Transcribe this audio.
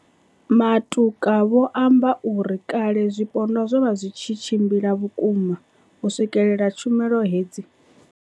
Matuka vho amba uri, kale zwipondwa zwo vha zwi tshi tshimbila vhukuma u swikelela tshumelo hedzi.